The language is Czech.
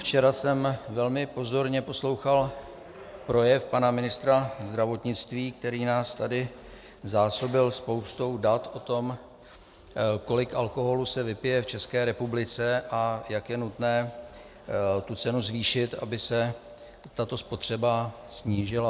Včera jsem velmi pozorně poslouchal projev pana ministra zdravotnictví, který nás tady zásobil spoustou dat o tom, kolik alkoholu se vypije v České republice a jak je nutné tu cenu zvýšit, aby se tato spotřeba snížila.